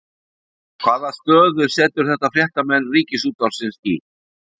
Hvaða stöðu setur þetta fréttamenn Ríkisútvarpsins í?